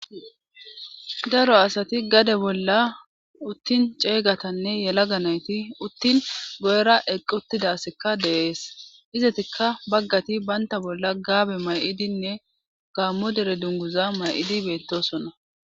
Daro asati gade bolla uttin ceeygatanne yela ga nayti uttin go'era equttidassekka deees izatikka baggati baynta bolla gaabe may'idinne gaammo dere dunguza may'idi beettosonna